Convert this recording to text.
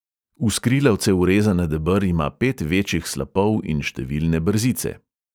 V skrilavce urezana deber ima pet večjih slapov in številne brzice.